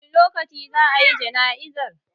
Wani lokaci za a yi jana'izar?